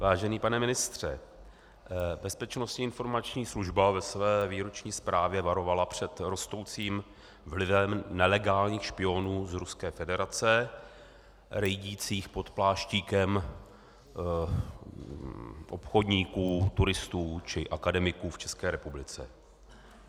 Vážený pane ministře, Bezpečnostní informační služba ve své výroční zprávě varovala před rostoucím vlivem nelegálních špionů z Ruské federace rejdících pod pláštíkem obchodníků, turistů či akademiků v České republice.